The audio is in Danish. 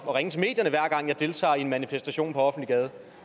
og ringe til medierne hver gang jeg deltager i en manifestation på offentlig gade